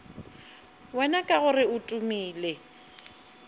wena ka gore o tumile